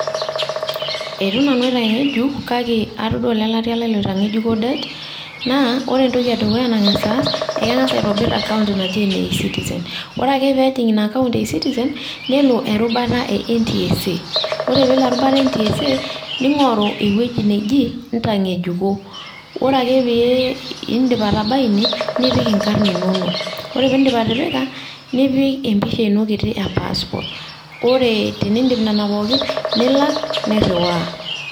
Eitu nanu aitang'ejuk kake atadua olelatia lai oitang'ejuko det, naa ore entoki edukuya nang'as, ekeng'as aitobir account naji ene e-citizen. Ore ake peejing' ina account e e-citizen ,nelo erubata e NTSA. Ore pelo erubata e NTSA, ning'oru ewueji neji "ntang'ejuko". Ore ake pee iidip atabai ine, nipik inkarn inonok. Ore piidip atipika, nipik episha ino kiti e passport. Ore teneidip nena pookin, nilak nirriwaa.